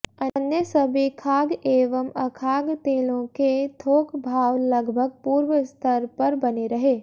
अन्य सभी खाद्य एवं अखाद्य तेलों के थोक भाव लगभग पूर्वस्तर पर बने रहे